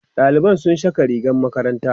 ɗaliban sun Saka rigar makaranta